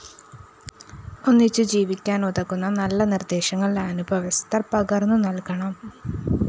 ഒന്നിച്ചു ജീവിക്കാനുതകുന്ന നല്ല നിര്‍ദ്ദേശങ്ങള്‍ അനുഭവസ്ഥര്‍ പകര്‍ന്നുനല്‍കണം